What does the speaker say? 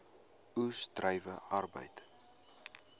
oes druiwe arbeid